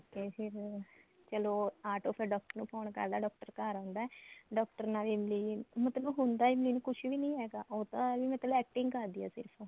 ਕਰਕੇ ਫਿਰ ਚਲੋ ਆਟੋ ਫੇਰ doctor ਨੂੰ phone ਕਰਦਾ doctor ਘਰ ਆਂਦਾ doctor ਨਾਲ ਇਮਲੀ ਮਤਲਬ ਹੁੰਦਾ ਇਮਲੀ ਨੂੰ ਕੁੱਝ ਵੀ ਨੀ ਹੈਗਾ ਉਹ ਤਾਂ ਮਤਲਬ acting ਕਰਦੀ ਏ ਸਿਰਫ਼